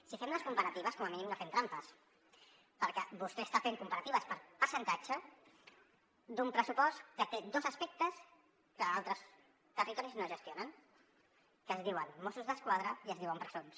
si fem les comparatives com a mínim no fem trampes perquè vostè està fent comparatives per percentatge d’un pressupost que té dos aspectes que altres territoris no gestionen que es diuen mossos d’esquadra i es diuen presons